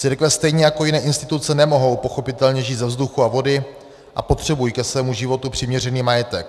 Církve stejně jako jiné instituce nemohou pochopitelně žít ze vzduchu a vody a potřebují ke svému životu přiměřený majetek.